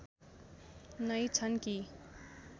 नै छन् कि